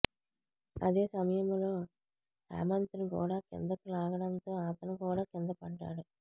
అదే సమయంలో హేమంత్ను కూడా కిందకు లాగడంతో అతను కూడా కిందపడ్డాడు